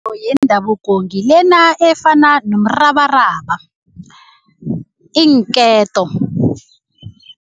Yendabuko ngilena efana nomrabaraba, iinketo.